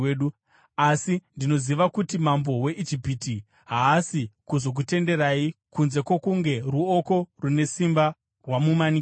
Asi ndinoziva kuti mambo weIjipiti haasi kuzokutenderai kunze kwokunge ruoko rune simba rwamumanikidza.